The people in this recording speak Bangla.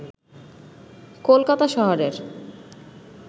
কলকাতা শহরের